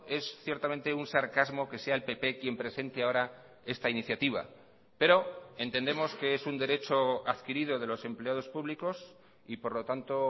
es ciertamente un sarcasmo que sea el pp quien presente ahora esta iniciativa pero entendemos que es un derecho adquirido de los empleados públicos y por lo tanto